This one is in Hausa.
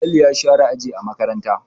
Falalu yana share aji a makaranta.